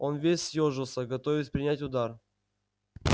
он весь съёжился готовясь принять удар